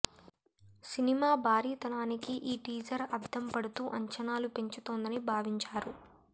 cinema భారీతనానికి ఈ teaser అద్దం పడుతూ అంచనాలు పెంచుతోందని భావించారు